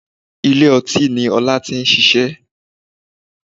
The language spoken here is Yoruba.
Ilé ọtí ni Ọlá ti n ṣiṣẹ́